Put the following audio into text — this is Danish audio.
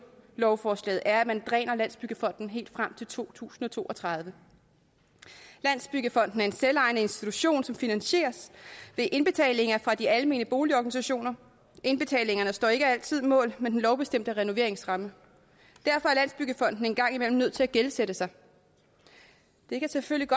lovforslaget er at man dræner landsbyggefonden helt frem til to tusind og to og tredive landsbyggefonden er en selvejende institution som finansieres ved indbetalinger fra de almene boligorganisationer indbetalingerne står ikke altid mål med den lovbestemte renoveringsramme og en gang imellem nødt til at gældsætte sig det kan selvfølgelig